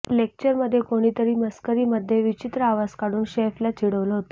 लेक्चरमध्ये कोणीतरी मस्करीमध्ये विचित्र आवाज काढून शेफला चिडवलं होतं